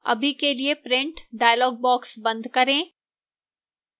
अभी के लिए print dialog box बंद करें